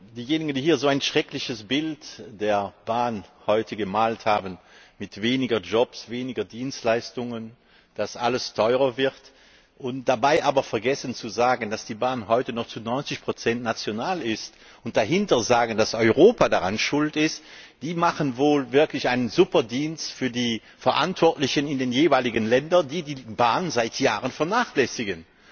Diejenigen, die hier heute ein so schreckliches Bild der Bahn gemalt haben, mit weniger Jobs, weniger Dienstleistungen, die sagen, dass alles teurer wird und dabei aber vergessen zu sagen, dass die Bahn heute noch zu 90 national ist, und anschließend erklären, dass Europa daran schuld ist, die leisten wohl wirklich eine Superdienst für die Verantwortlichen in den jeweiligen Ländern, die die Bahn seit Jahren vernachlässigen.